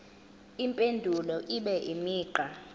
impendulo ibe imigqa